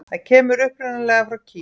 Það kemur upprunalega frá Kína.